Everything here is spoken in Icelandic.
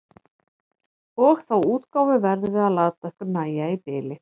Og þá útgáfu verðum við að láta okkur nægja í bili.